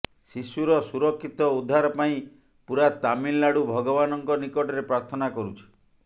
ଶିଶୁର ସୁରକ୍ଷିତ ଉଦ୍ଧାର ପାଇଁ ପୂରା ତାମିଲନାଡୁ ଭଗବାନଙ୍କ ନିକଟରେ ପ୍ରାର୍ଥନା କରୁଛି